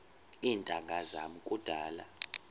iintanga zam kudala